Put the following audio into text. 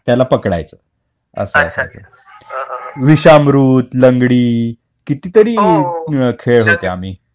त्याला पकडायचं असं असायचं विषामृत लंगडी कितीतरी खेळत होते लहानपणी